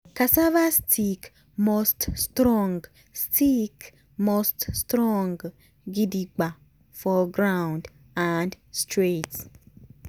cassava stick must strong stick must strong gidigba for ground and straight.